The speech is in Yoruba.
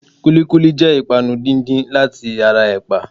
Kúlíkúlí jẹ́ ìpanu díndín láti ara ẹ̀pà.